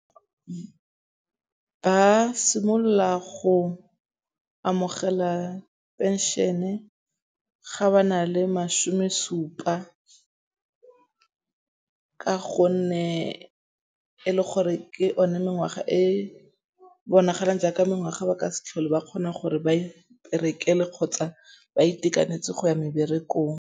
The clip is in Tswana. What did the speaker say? Ba simolola go amogela pension-e ga ba na le masome supa ka gonne e le gore ke one mengwaga e bonagalang jaaka mengwaga ba ka se tlhole ba kgona gore ba iperekele kgotsa ba itekanetse go ya meberekong.